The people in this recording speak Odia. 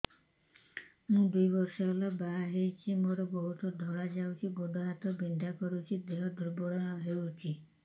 ମୁ ଦୁଇ ବର୍ଷ ହେଲା ବାହା ହେଇଛି ମୋର ବହୁତ ଧଳା ଯାଉଛି ଗୋଡ଼ ହାତ ବିନ୍ଧା କରୁଛି ଦେହ ଦୁର୍ବଳ ହଉଛି